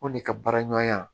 O de ka baaraɲɔgɔnya